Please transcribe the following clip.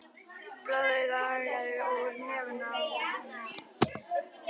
Blóðið lagaði úr nefinu á henni.